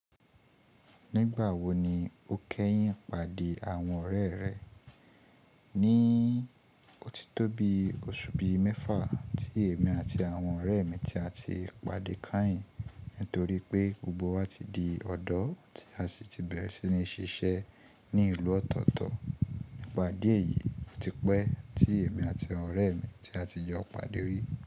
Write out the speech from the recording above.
Nígbà wo ni o kẹ́yìn pàdé àwọn ọ̀rẹ́ rẹ? Ni ó ti tó bi oṣù bí i mẹ́fà tí èmi àti àwọn ọ̀rẹ́ mi ti a ti pàdé kányìn nítorí pé gbogbo wa ti di ọ̀dọ́ tí a sì ti bẹ̀rẹ̀ sí ní ṣiṣẹ́ ní ìlú ọ̀tọ̀ọ̀tọ̀. Ìpàdé èyí ò ti pẹ́ tí èmi àti àwọn ọ̀rẹ́ mi tí a ti jọ pàdé rí.